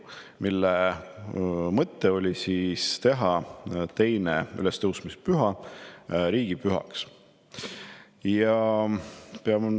Selle mõte oli teha 2. ülestõusmispüha riigipühaks.